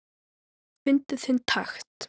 Fyndu þinn takt